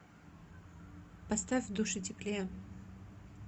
поставь в душе теплее